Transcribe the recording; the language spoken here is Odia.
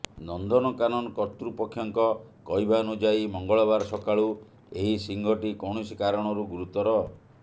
ନନ୍ଦନକାନନ କର୍ତ୍ତୃପକ୍ଷଙ୍କ କହିବାନୁଯାୟୀ ମଙ୍ଗଳବାର ସକାଳୁ ଏହି ସିଂହଟି କୌଣସି କାରଣରୁ ଗୁରୁତର